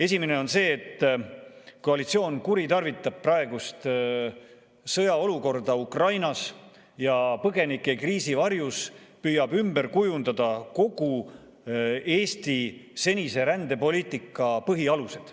Esimene on see, et koalitsioon kuritarvitab praegust sõjaolukorda Ukrainas ja põgenikekriisi varjus püüab ümber kujundada kogu Eesti senise rändepoliitika põhialuseid.